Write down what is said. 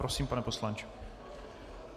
Prosím, pane poslanče.